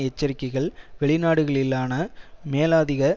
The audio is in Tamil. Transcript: எச்சரிக்கைகள் வெளிநாடுகளிலான மேலதிக